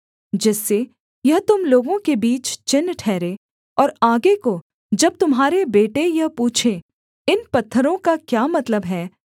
जिससे यह तुम लोगों के बीच चिन्ह ठहरे और आगे को जब तुम्हारे बेटे यह पूछें इन पत्थरों का क्या मतलब है